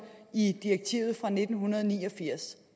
i direktivet fra nitten ni og firs